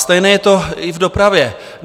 Stejné je to i v dopravě.